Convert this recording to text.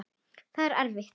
Það var erfitt.